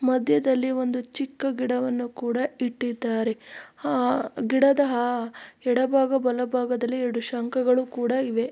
ಮದ್ಯದಲ್ಲಿ ಒಂದು ಚಿಕ್ಕ ಗಿಡವನ್ನು ಕೂಡ ಇಟ್ಟಿದ್ದಾರೆ ಆಹ್ ಗಿಡದ ಎಡಬಾಗ ಬಲಬಾಗದಲ್ಲಿ ಎರಡು ಶಂಖಗಳು ಕೂಡ ಇವೆ.